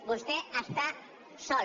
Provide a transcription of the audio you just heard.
vostè està sol